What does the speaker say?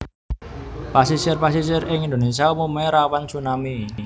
Pasisir pasisir ing Indonesia umume rawan tsunami